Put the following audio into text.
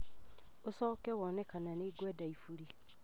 ũcoke wone kana nĩ ngwenda iburi.